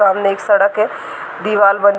सामने एक सड़क है दीवाल बन --